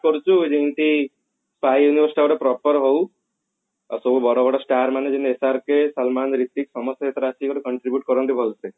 କରୁଛି ଯେମତି proper ହଉ ଆଉ ସବୁ ବଡ ବଡ star ମାନଙ୍କୁ SRK ସଲମାନ ହିର୍ତ୍ଵିକ ସମସ୍ତେ ଆସି ପୁରା contribute କରନ୍ତୁ ଭଲସେ